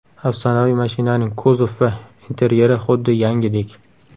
Afsonaviy mashinaning kuzov va interyeri xuddi yangidek.